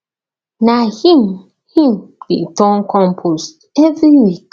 na him him dey turn compost every week